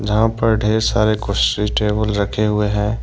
यहां पर ढेर सारे कुर्सी टेबल रखे हुए हैं।